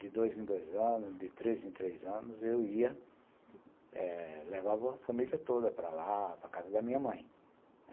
de dois em dois anos, de três em três anos, eu ia, eh... Levava a família toda para lá, para a casa da minha mãe.